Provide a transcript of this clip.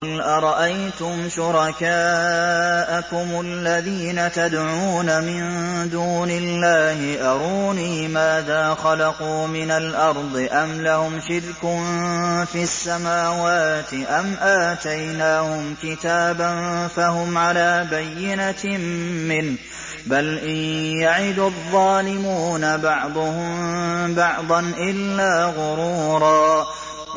قُلْ أَرَأَيْتُمْ شُرَكَاءَكُمُ الَّذِينَ تَدْعُونَ مِن دُونِ اللَّهِ أَرُونِي مَاذَا خَلَقُوا مِنَ الْأَرْضِ أَمْ لَهُمْ شِرْكٌ فِي السَّمَاوَاتِ أَمْ آتَيْنَاهُمْ كِتَابًا فَهُمْ عَلَىٰ بَيِّنَتٍ مِّنْهُ ۚ بَلْ إِن يَعِدُ الظَّالِمُونَ بَعْضُهُم بَعْضًا إِلَّا غُرُورًا